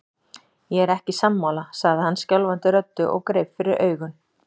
Ég er ekki sammála, sagði hann skjálfandi röddu og greip fyrir augun.